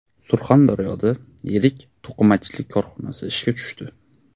Surxondaryoda yirik to‘qimachilik korxonasi ishga tushdi.